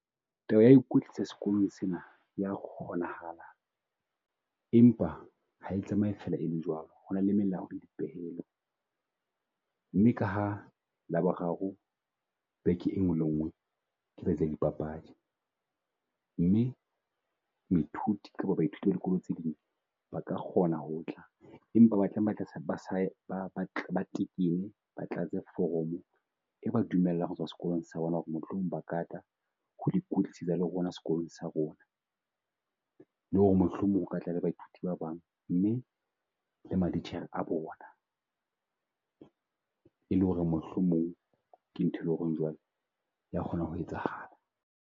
Taba ya ho ikwetlwisa sekolong sena ya kgonahala, empa hae tlameha e fela e le jwalo. Hona le melao le dipehelo mme kaha Laboraro beke e nngwe le nngwe ke yadi papadi. Mme moithuti kapa baithuti ba dikolo tse ding ba ka kgona ho tla empa ba tekenne ba tlatse foromo e ba dumellang ho tswa sekolong sa bona ho re mohlomong ba ka tla ho le rona sekolong sa rona. Le ho re mohlomong ho ka tla le baithuti ba bang mme le matitjhere a bona. E le ho re mohlomong ke nthwe e leng ho re jwale ya kgona ho etsahala.